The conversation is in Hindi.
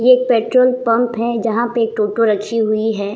ये एक पेट्रोल पंप है जहां पे टोटो रखी हुई है ।